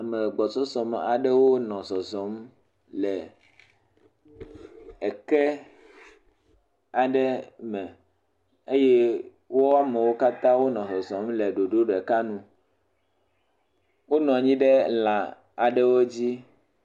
me gbɔsɔsɔ me aɖewo nɔ zɔzɔm le eke aɖe me eye woamewo katã nɔ zɔzɔm le ɖoɖo ɖeka nu wó nɔnyi ɖe lã aɖe dzi